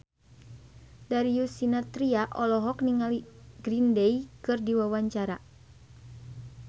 Darius Sinathrya olohok ningali Green Day keur diwawancara